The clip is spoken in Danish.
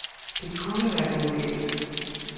Det kunne være gået galt.